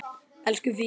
Elsku Fía.